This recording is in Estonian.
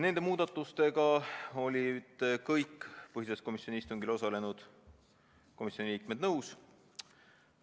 " Nende muudatustega olid kõik komisjoni liikmed nõus.